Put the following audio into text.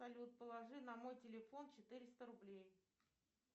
салют положи на мой телефон четыреста рублей